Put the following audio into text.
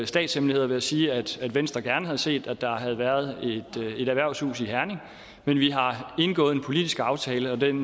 statshemmelighed ved at sige at venstre gerne havde set at der havde været et erhvervshus i herning men vi har indgået en politisk aftale og den